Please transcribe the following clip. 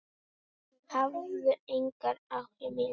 Hafðu engar áhyggjur!